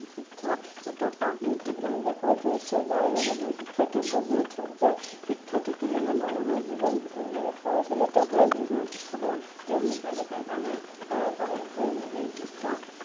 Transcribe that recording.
শিক্ষা এটা পাঠ যাৰ যোগেদি শিক্ষাৰ্থী বুজি উঠক যে শিক্ষা থাকিলে হে মানুহৰ জীৱন টো কেনেদৰে পৰিচালিত হয় মানুহৰ শিক্ষা বোৰ তেওঁলোকে যাতে জনে তাৰ শিক্ষা